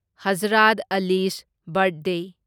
Hazrat Ali's birthday